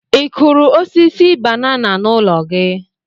ị kụrụ osisi banana na ụlọ gi?